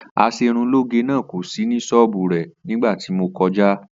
As̩erunlóge náà kò sí ní s̩ó̩ò̩bù rè̩ nígbà tí mo ko̩já